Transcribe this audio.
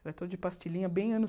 Era todo de pastilhinha, bem anos